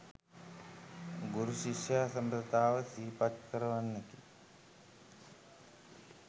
ගුරු, ශිෂ්‍ය සබඳතාව සිහිපත් කරවන්නකි.